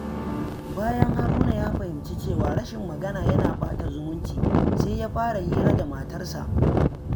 Bayan Haruna ya fahimci cewa rashin magana yana ɓata zumunci, sai ya fara hira da matarsa.